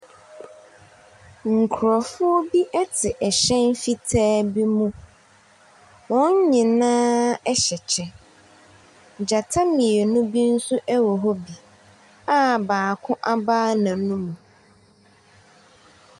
Nkurɔfoɔ bi te ɛhyɛn fitaa bi mu. Wɔn nyinaa hyɛ kyɛ. Gyata mmienu bi nso wɔ hɔ bi a baako abae n'anum.